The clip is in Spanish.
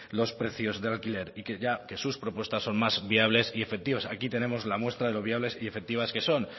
los precios de alquiler y que ya que sus propuestas son más viables y efectivas aquí tenemos la muestra de lo viables y efectivas que son